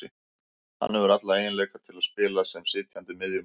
Hann hefur alla eiginleika til að spila sem sitjandi miðjumaður